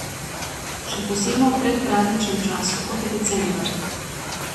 Še posebno v predprazničnem času, kot je december.